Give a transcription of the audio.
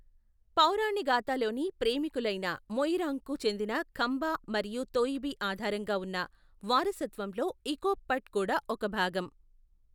పౌరాణిగాతలోని ప్రేమికులైన మొయిరాంగ్కు చెందిన ఖంబా మరియు తోయిబి ఆధారంగా ఉన్న వారసత్వంలో ఇకోప్ పట్ కూడా ఒక భాగం.